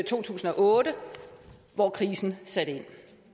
to tusind og otte hvor krisen satte ind